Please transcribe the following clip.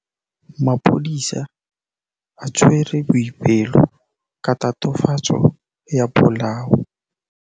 Maphodisa a tshwere Boipelo ka tatofatsô ya polaô.